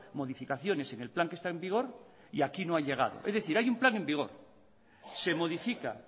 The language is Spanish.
modificaciones en el plan que está en vigor y aquí no ha llegado es decir hay un plan en vigor se modifica